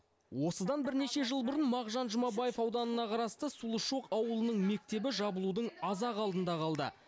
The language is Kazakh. осыдан бірнеше жыл бұрын мағжан жұмабаев ауданына қарасты сұлушоқ ауылының мектебі жабылудың аз ақ алдында қалды